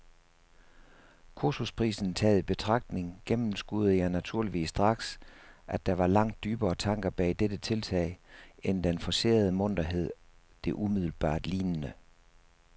Kursusprisen taget i betragtning gennemskuede jeg naturligvis straks, at der var langt dybere tanker bag dette tiltag end den forcerede munterhed, det umiddelbart lignede.